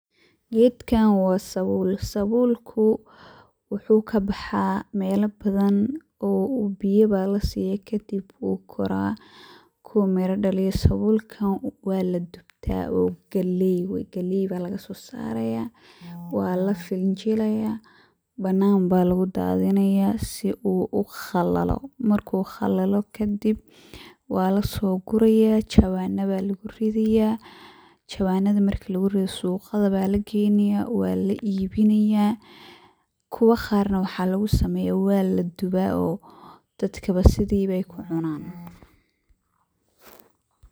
Gedkan wa sabul, sabulku wuxu kabaxa mela badan oo biyo ba lasiya oo kadib ayu kora marku mira daliyo kadib waladubta oo galey ba lagasosaraya, walafinjilaya banaan ba lugudadinaya sii uu ukhalalo kadib walasoguraya lawana aya luguguraya, lawanada marku lugurido suqa aya lageynaya walaibinaya. Kuwa qaar waxa lugusubiya waladuba oo dadka sida aya kucunan.